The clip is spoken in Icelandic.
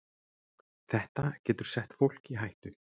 Þetta getur sett fólk í hættu